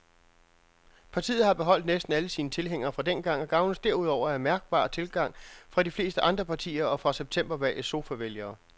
Partiet har beholdt næsten alle sine tilhængere fra dengang og gavnes derudover af mærkbar tilgang fra de fleste andre partier og fra septembervalgets sofavælgere.